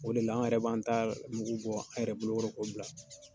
O de la an yɛrɛ b'an ta mugu bɔ, an yɛrɛ bolokɔrɔ, ko bila.